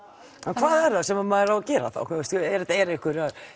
hvað er það sem maður á að gera þá eru einhverjar